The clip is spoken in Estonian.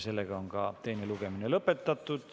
Teine lugemine ongi lõpetatud.